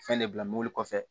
Fɛn de bila mɔbili kɔfɛ